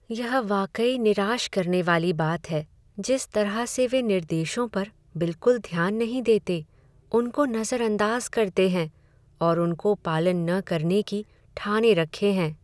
यह वाकई निराश करने वाली बात है, जिस तरह से वे निर्देशों पर बिलकुल ध्यान नहीं देते, उनको नज़रअंदाज करते है और उनको पालन न करने की ठाने रखे हैं।